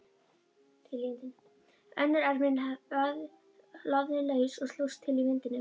Önnur ermin lafði laus og slóst til í vindinum.